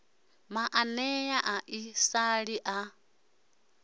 maanea a ḓi sala a